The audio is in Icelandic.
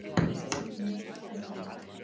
Vinni, hvernig er veðrið úti?